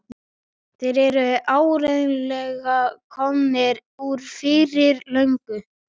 Þau stóðu langt út úr dökkleitu andlitinu og leiftruðu.